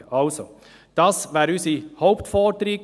Dies ist unsere Hauptforderung.